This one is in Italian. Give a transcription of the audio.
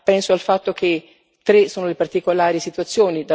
Penso al fatto che tre sono le particolari situazioni.